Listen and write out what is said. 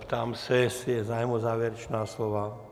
Ptám se, jestli je zájem o závěrečná slova.